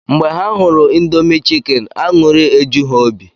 Mgbe ha hụrụ Indomi chikeni aṅụrị eju ha obi